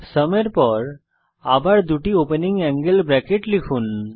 sum এর পর আবার দুটি ওপেনিং অ্যাঙ্গেল ব্রেকেট লিখুন